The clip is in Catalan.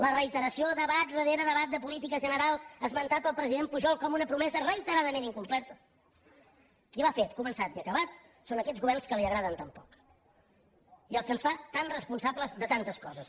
la reiteració debat rere debat de política general esmentat pel president pujol com una promesa reiteradament incomplerta qui l’ha fet començat i acabat són aquests governs que li agraden tan poc i als quals ens fa tan responsables de tantes coses